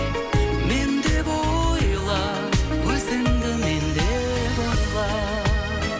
мен деп ойла өзіңді мен деп ойла